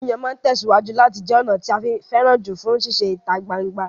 Yíyàn máa tẹ̀síwájú láti jẹ ọ̀nà tí a fẹ́ràn jù fún sísè ìta gbangba